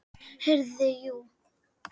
Heyrðu, jú.